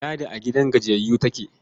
Ladi a gidan gajiyayyu take.